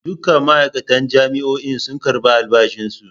Dukkan ma'aikatan jami'o'in sun karbi albashi su.